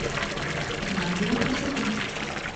магия красоты